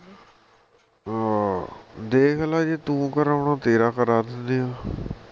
ਹਾਂ ਦੇਖ ਲੈ ਜੇ ਤੂੰ ਕਰਾਉਣਾ ਤੇਰਾ ਕਰਾਂ ਦਿੰਦੇ ਆ